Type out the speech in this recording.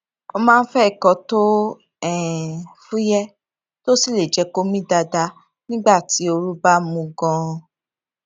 ó máa ń fé nǹkan tó um fúyẹ tó sì lè jẹ kó mí dáadáa nígbà tí ooru bá mú ganan